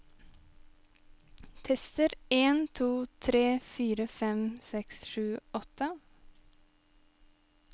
Tester en to tre fire fem seks sju åtte